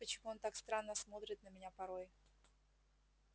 вот почему он так странно смотрит на меня порой